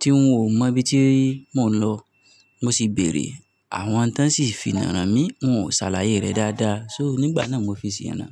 tí ń ò mọ ibi tí mò ń lọ. Mo sì béèrè àwọn tán sì finá rán mi, wọ́n ò ṣàlàyé rẹ̀ dáadáa. So nígbà náà mo fi sì ná.